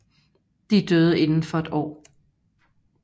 De døde inden for et år